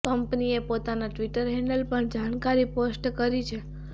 કંપનીએ પોતાના Twitter handle પર જાણકારી પોસ્ટ કરી છે